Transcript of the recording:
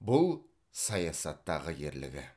бұл саясаттағы ерлігі